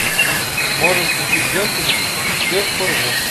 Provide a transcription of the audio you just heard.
можешь включить ленту всех порву